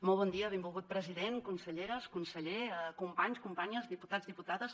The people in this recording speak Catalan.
molt bon dia benvolgut president conselleres conseller companys companyes diputats diputades